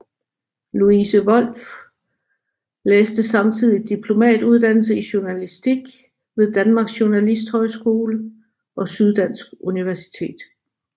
Louise Wolff læste samtidig diplomuddannelse i journalistik ved Danmarks Journalisthøjskole og Syddansk Universitet